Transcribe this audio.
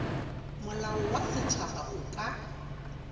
molao wa setšhaba o ka